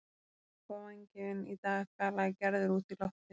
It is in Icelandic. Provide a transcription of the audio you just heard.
Þú ert nú eitthvað vangefinn í dag galaði Gerður út í loftið.